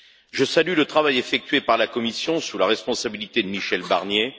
Je salue le travail effectué par la Commission sous la responsabilité de Michel Barnier.